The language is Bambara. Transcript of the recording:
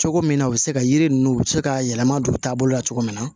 Cogo min na u bɛ se ka yiri ninnu u bɛ se ka yɛlɛma don u taabolo la cogo min na